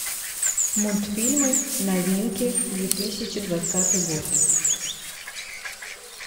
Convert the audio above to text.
мультфильмы новинки две тысячи двадцатый год